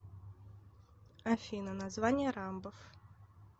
афина название рамбов